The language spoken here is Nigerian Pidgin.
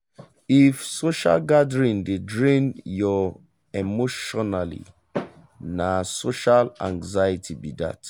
if social gathering dey drain your emotionally na social anxiety be that.